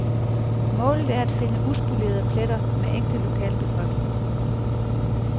Målet er at finde uspolerede pletter med ægte lokalbefolkning.